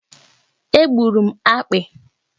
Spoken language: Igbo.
È gburu m akpị